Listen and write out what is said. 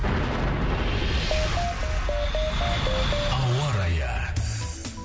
ауа райы